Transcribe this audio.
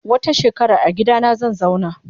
Wata shekarar agidana zanzauna.